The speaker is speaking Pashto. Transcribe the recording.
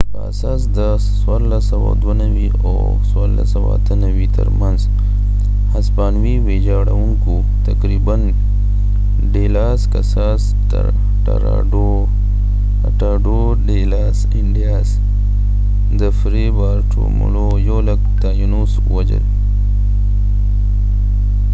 د فری بارټولمو fray bartolomeډی لاس کساس ټراټاډو ډی لاس انډیاسtratado de las indias په اساس د 1492 او 1498 تر منځ هسپانوي ويچاړونکو تقریبا یو لک تاینوس ووژل